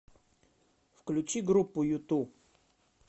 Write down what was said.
включи группу юту